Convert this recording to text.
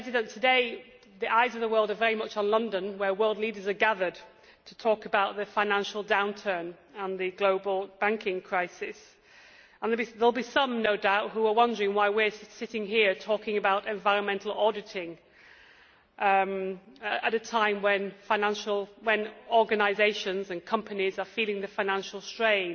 Today the eyes of the world are very much on London, where world leaders are gathered to talk about the financial downturn and the global banking crisis. There will be some, no doubt, who are wondering why we are sitting here talking about environmental auditing at a time when organisations and companies are feeling the financial strain.